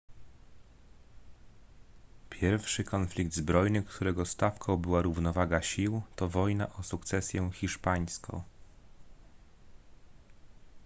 pierwszy konflikt zbrojny którego stawką była równowaga sił to wojna o sukcesję hiszpańską